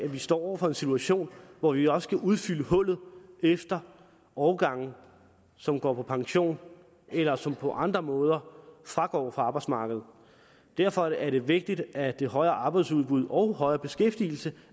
står over for en situation hvor vi også skal udfylde hullet efter årgangen som går på pension eller som på andre måder går fra arbejdsmarkedet og derfor er det vigtigt at det højere arbejdsudbud og højere beskæftigelse